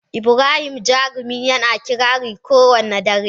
Ibrahim Jarumi yana kirari kowane dare.